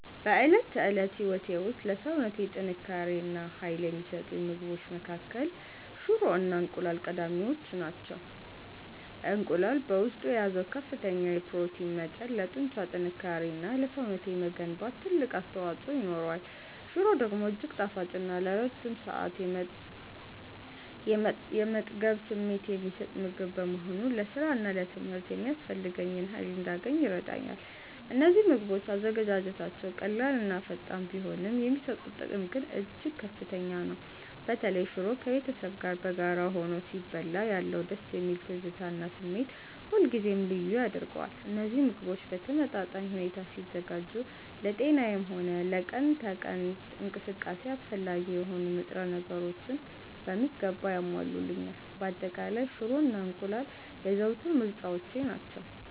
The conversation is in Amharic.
በዕለት ተዕለት ሕይወቴ ውስጥ ለሰውነቴ ጥንካሬ እና ኃይል ከሚሰጡኝ ምግቦች መካከል ሽሮ እና እንቁላል ቀዳሚዎቹ ናቸው። እንቁላል በውስጡ በያዘው ከፍተኛ የፕሮቲን መጠን ለጡንቻ ጥንካሬ እና ለሰውነቴ መገንባት ትልቅ አስተዋፅኦ ይኖረዋል። ሽሮ ደግሞ እጅግ ጣፋጭ እና ለረጅም ሰዓት የመጥገብ ስሜት የሚሰጥ ምግብ በመሆኑ ለሥራና ለትምህርት የሚያስፈልገኝን ኃይል እንዳገኝ ይረዳኛል። እነዚህ ምግቦች አዘገጃጀታቸው ቀላልና ፈጣን ቢሆንም፣ የሚሰጡት ጥቅም ግን እጅግ ከፍተኛ ነው። በተለይ ሽሮ ከቤተሰብ ጋር በጋራ ሆኖ ሲበላ ያለው ደስ የሚል ትዝታ እና ስሜት ሁልጊዜም ልዩ ያደርገዋል። እነዚህ ምግቦች በተመጣጣኝ ሁኔታ ሲዘጋጁ ለጤናዬም ሆነ ለቀን ተቀን እንቅስቃሴዬ አስፈላጊ የሆኑ ንጥረ ነገሮችን በሚገባ ያሟሉልኛል። በአጠቃላይ፣ ሽሮ እና እንቁላል የዘወትር ምርጫዎቼ ናቸው።